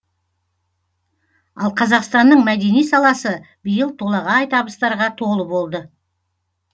ал қазақстанның мәдени саласы биыл толағай табыстарға толы болды